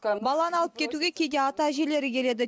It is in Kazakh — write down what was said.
баланы алып кетуге кейде ата әжелері келеді